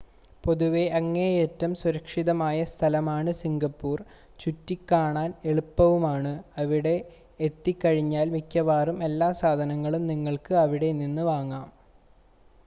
പൊതുവെ അങ്ങേയറ്റം സുരക്ഷിതമായ സ്ഥലമാണ് സിംഗപ്പുർ, ചുറ്റി സഞ്ചരിക്കാൻ എളുപ്പവുമാണ്, അവിടെ എത്തിക്കഴിഞ്ഞാൽ മിക്കവാറും എല്ലാ സാധനങ്ങളും നിങ്ങൾക്ക് അവിടെനിന്ന് വാങ്ങാം